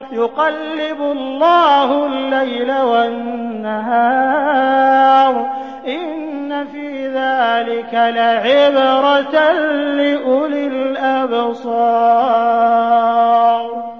يُقَلِّبُ اللَّهُ اللَّيْلَ وَالنَّهَارَ ۚ إِنَّ فِي ذَٰلِكَ لَعِبْرَةً لِّأُولِي الْأَبْصَارِ